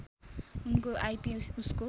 उनको आइपी उसको